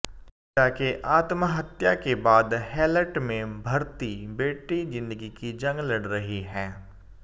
पिता के आत्महत्या के बाद हैलट में भर्ती बेटी जिंदगी की जंग लड़ रही है